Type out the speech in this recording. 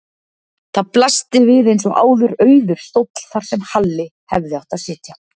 Þar blasti við eins og áður auður stóll þar sem Halli hefði átt að sitja.